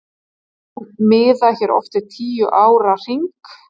Menn miða hér oft við tíu ára hring.